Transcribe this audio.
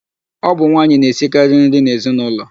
Ọ bụ nwaanyị na-esikarị nri n'ezinaụlọ.